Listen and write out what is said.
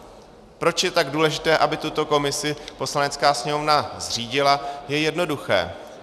Proč je tak důležité, aby tuto komisi Poslanecká sněmovna zřídila, je jednoduché.